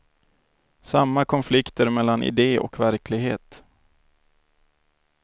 Samma konflikter mellan idé och verklighet.